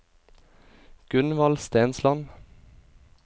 Gunvald Stensland